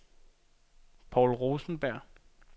Poul Rosenberg